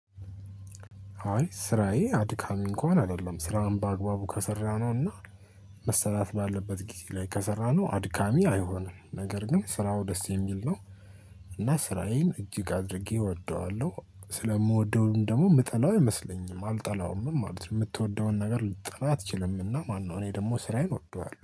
አይ ስራዬ አድካሚ እንኳን አይደለም ስራውን በአግባቡ ከሰራነው እና መሰራት ባለበት ጊዜ ላይ ከሰራነው አድካሚ አይሆንም ነገር ግን ስራው ደስ የሚል ነው። እና ስራዬን እጅግ አድርጌ እወደዋለሁ ስለምወደውም ደግሞ የምጠላው አይመስለኝም አልጠላውም ምን ማለት ነው የምትወደውን ነገር ልትጠላው አትችልምና? ማነው እኔ ደግሞ ስራዬን እወደዋለሁ